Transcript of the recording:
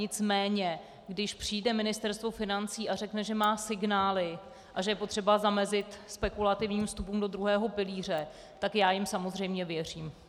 Nicméně když přijde Ministerstvo financí a řekne, že má signály a že je potřeba zamezit spekulativním vstupům do druhého pilíře, tak já jim samozřejmě věřím.